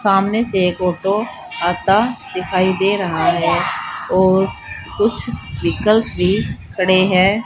सामने से एक ऑटो आता दिखाई दे रहा है और कुछ व्हीकल्स भी खड़े है।